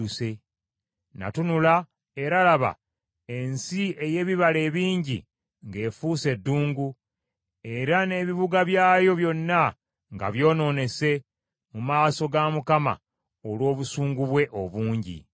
Natunula, era laba, ensi ey’ebibala ebingi ng’efuuse ddungu, era n’ebibuga byayo byonna nga byonoonese, mu maaso ga Mukama , olw’obusungu bwe obungi.